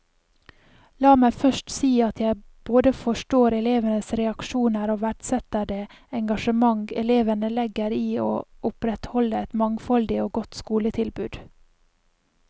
La meg først si at jeg både forstår elevenes reaksjoner og verdsetter det engasjement elevene legger i å opprettholde et mangfoldig og godt skoletilbud.